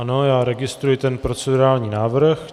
Ano, já registruji ten procedurální návrh.